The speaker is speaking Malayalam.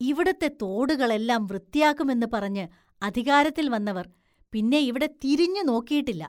ഇവിടുത്തെ തോടുകളെല്ലാം വൃത്തിയാക്കുമെന്ന് പറഞ്ഞ് അധികാരത്തില്‍ വന്നവര്‍ പിന്നെ ഇവിടെ തിരിഞ്ഞുനോക്കിയിട്ടില്ല.